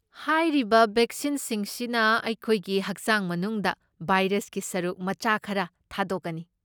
ꯍꯥꯏꯔꯤꯕ ꯕꯦꯛꯁꯤꯟꯁꯤꯡ ꯁꯤꯅ ꯑꯩꯈꯣꯏꯒꯤ ꯍꯛꯆꯥꯡ ꯃꯅꯨꯡꯗ ꯚꯥꯏꯔꯁꯀꯤ ꯁꯔꯨꯛ ꯃꯆꯥ ꯈꯔ ꯊꯥꯗꯣꯛꯀꯅꯤ꯫